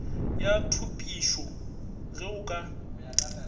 ya thupišo ge o ka